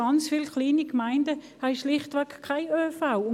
Sehr viele kleine Gemeinden haben schlichtweg keinen ÖV.